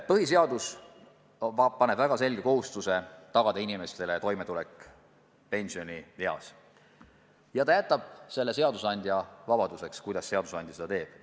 Põhiseadus paneb riigile väga selge kohustuse tagada inimestele toimetulek pensionieas ja ta jätab selle seadusandja otsustada, kuidas seadusandja seda teeb.